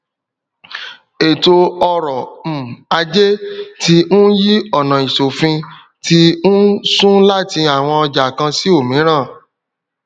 eto oro um aje ti n yi onaisofin ti n sun lati awon oja kan si omiran